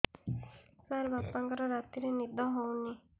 ସାର ବାପାଙ୍କର ରାତିରେ ନିଦ ହଉନି